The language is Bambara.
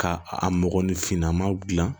Ka a mɔgɔninfinna maa dilan